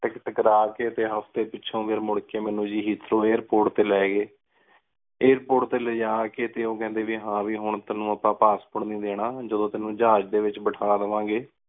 ticket ਕਰ ਕ ਟੀ ਹਾਫ੍ਟੀ ਪਿਛੋਂ ਫੇਰ ਮੁਰ ਕ ਮਨੁ ਆਇਰ ਪੋਰਟ ਟੀ ਲੀ ਗਏ ਆਇਰ ਪੋਰਟ ਟੀ ਲੈ ਜਾ ਕ ਟੀ ਓਹ ਕੇਹੰਡੀ ਵੀ ਹਨ ਵੀ ਹੁਣ ਤੇਨੁ ਅਪ੍ਪਨ ਪਾਸ੍ਸ੍ਪੋਰਟ ਨੀ ਦੇਣਾ ਜਦੋਂ ਤੇਨੁ ਜਹਾਜ਼ ਏਚ ਬੇਤਹਾ ਦਾਵਾਂ ਗੀ